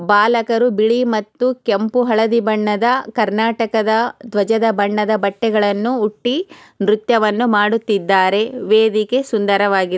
ಬಾಲಕರು ಬಿಳಿ ಮತ್ತು ಕೆಂಪೂ ಹಳದಿ ಬಣ್ಣದ ಕರ್ನಾಟಕದ ದ್ವಜದ ಬಣ್ಣದ ಬಟ್ಟೆಗಳನ್ನು ಹುಟ್ಟಿ ನೃತ್ಯವನ್ನು ಮಾಡುತ್ತಿದ್ದಾರೆ ವೇದಿಕೆ ಸುಂದರವಾಗಿ --